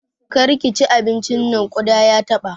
Kar ki ci abincin nan! ƙuda ya taɓa.